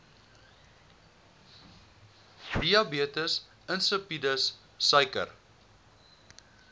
diabetes insipidus suiker